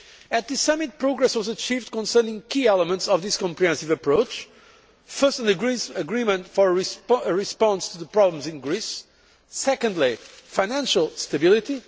At this summit, progress was achieved concerning key elements of this comprehensive approach first, an agreement for a response to the problems in Greece secondly, financial stability